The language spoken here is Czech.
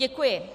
Děkuji.